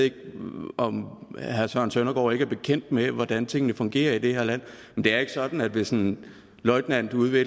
ikke om herre søren søndergaard ikke er bekendt med hvordan tingene fungerer i det her land men det er ikke sådan at hvis en løjtnant ude ved